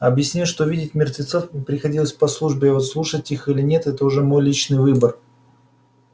объяснил что видеть мертвецов мне приходится по службе а вот слушать их или нет это уже мой личный выбор